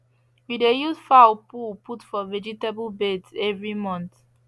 we dey use fowl poo put for vegetable beds every month